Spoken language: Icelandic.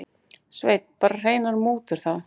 Sveinn: Bara hreinar mútur þá?